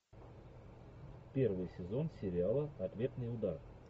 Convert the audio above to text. первый сезон сериала ответный удар